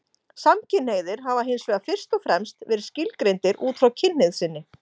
Samkynhneigðir hafa hins vegar fyrst og fremst verið skilgreindir út frá kynhneigð sinni.